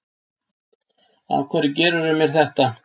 Af hverju gerðirðu mér þetta?